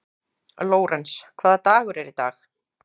Lórens, hvaða dagur er í dag?